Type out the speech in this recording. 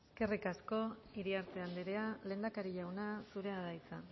eskerrik asko iriarte anderea lehendakari jauna zurea da hitza